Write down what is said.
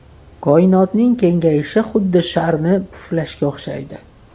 Koinotning kengayishi xuddi sharni puflashga o‘xshaydi.